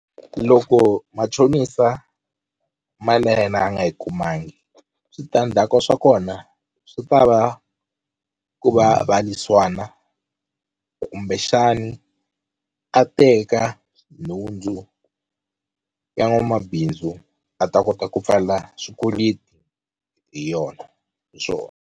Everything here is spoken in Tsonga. Loko machonisa mali ya yena a nga yi kumangi switandzhaku swa kona swi ta va ku va va lwisana kumbexani a teka nhundzu ya n'wamabindzu a ta kota ku pfala swikweleti hi yona hi .